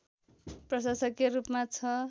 प्रशासकीय रूपमा ६